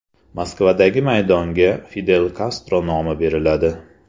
Moskvadagi maydonga Fidel Kastro nomi beriladi.